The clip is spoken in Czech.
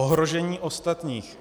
Ohrožení ostatních.